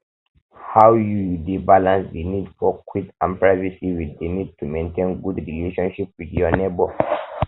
how you you dey balance di need for quiet and privacy with di need to maintain good relationship with your neighbor